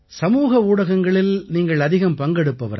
சமூக ஊடகங்களில் நீங்கள் அதிகம் பங்கெடுப்பவரா